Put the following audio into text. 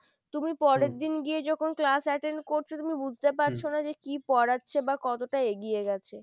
তুমি পরের দিন গিয়ে যখন ক্লাস attend করছো তুমি বুঝতে পারছ না যে কি পড়াচ্ছে বা কতটা এগিয়ে গেছে।